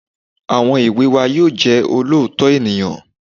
Àwọn èwe wa yóò jẹ́ olóòótọ́ ènìyàn